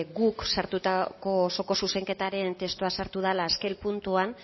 guk sartutako osoko zuzenketaren testua sartu dela azken puntuan